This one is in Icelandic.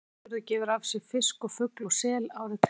Hornafjörður gefur af sér fisk og fugl og sel árið um kring.